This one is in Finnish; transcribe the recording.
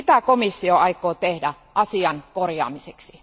Mitä komissio aikoo tehdä asian korjaamiseksi?